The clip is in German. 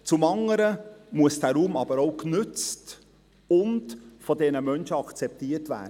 Zum anderen muss dieser Raum aber auch genützt und von diesen Menschen akzeptiert werden.